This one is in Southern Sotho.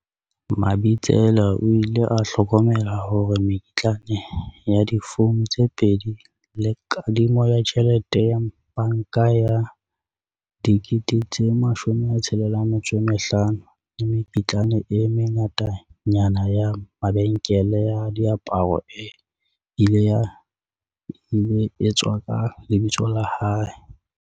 Mabitsela o ile a hlokomela hore mekitlane ya difouno tse pedi le kadimo ya tjhelete ya banka ya R65 000 le mekitlane e mengatanyana ya mabenkeleng a diaparo e ile etswa ka lebitso la hae.